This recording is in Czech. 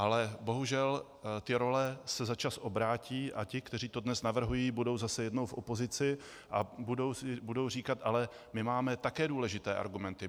Ale bohužel ty role se za čas obrátí a ti, kteří to dnes navrhují, budou zase jednou v opozici a budou říkat: Ale my máme také důležité argumenty.